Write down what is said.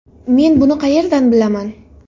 Men buni qayerdan bilaman?